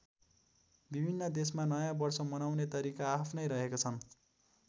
विभिन्न देशमा नयाँ वर्ष मनाउने तरिका आआफ्नै रहेका छन्।